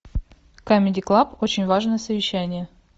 камеди клаб очень важное совещание